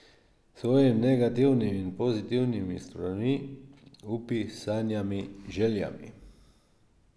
S svojimi negativnimi in pozitivnimi stranmi, upi, sanjami, željami.